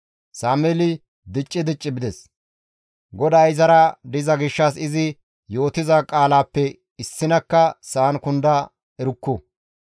Sameeli dicci dicci bides; GODAY izara diza gishshas izi yootiza qaalaappe issinakka sa7an kunda erukku.